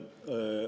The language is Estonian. Suur aitäh!